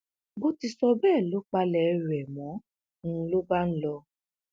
bó ti sọ bẹẹ ló palẹ ẹrù rẹ mò ń lọ bá lọ